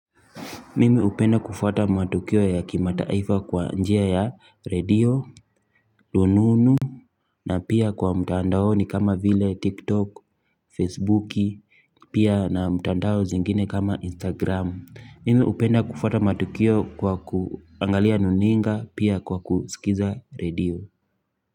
Mimi hupenda kufuata matukio ya kimataifa kwa njia ya redio, rununu na pia kwa mtandaoni kama vile tiktok, facebook, pia na mtandao zingine kama instagram mimi hupenda kufuata matukio kwa kuangalia runinga pia kwa kusikiliza radio.